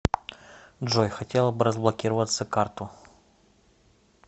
джой хотела бы разблокироваться карту